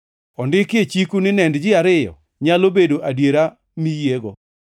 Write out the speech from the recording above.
Ondiki e chiku ni nend ji ariyo nyalo bedo adiera mi yiego.